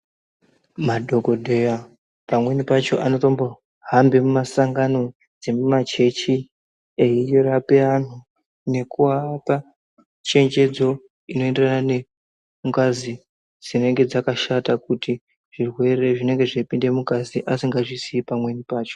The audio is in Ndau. Madhokodheya pamweni pacho anotombo hambe mumasangano dzemuma chechi eirape anhu, nekuapa chenjedzo inoenderane nengazi dzinenge dzakashata kuti zvirwere zvinenge zveipinde mungazi asingazviziyi pamweni pacho.